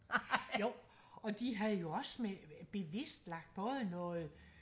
jo og de havde jo også bevist lagt både noget